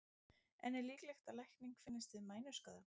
En er líklegt að lækning finnist við mænuskaða?